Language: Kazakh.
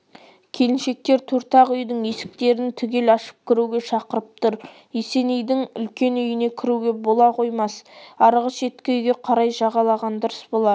келіншектер төрт ақ үйдің есіктерін түгел ашып кіруге шақырып тұр есенейдің үлкен үйіне кіруге бола қоймас арғы шеткі үйге қарай жағалаған дұрыс болар